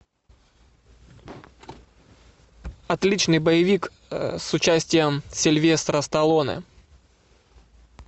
отличный боевик с участием сильвестра сталлоне